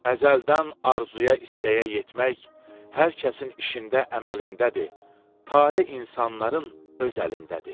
Əzəldən arzuya, istəyə yetmək hər kəsin işində, əməlindədir, tale insanların öz əlindədir.